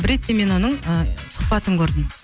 бір ретте мен оның ыыы сұхбатын көрдім